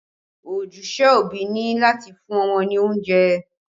Ojúṣe òbí ni láti fún ọmọ ní oúnjẹ